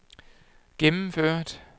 gennemført